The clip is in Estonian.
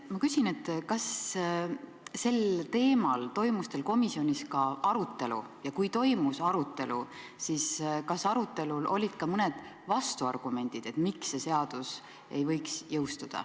Ma küsin, kas sel teemal toimus teil komisjonis ka arutelu ja kui toimus arutelu, siis kas arutelul olid ka mõned vastuargumendid, miks see seadus ei võiks jõustuda.